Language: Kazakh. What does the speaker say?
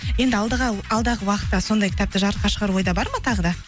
енді алдыға алдағы уақытта сондай кітапты жарыққа шығару ойда бар ма тағы да